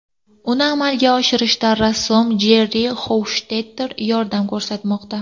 Uni amalga oshirishda rassom Jerri Xofshtetter yordam ko‘rsatmoqda.